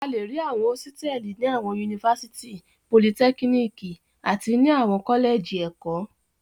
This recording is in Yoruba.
A le rí àwọn hósítẹ́ẹ́lì ní àwọn yunifásítì, politẹ́kíníkì àti ní àwọn kọ́lẹ́jì ẹ̀kọ́.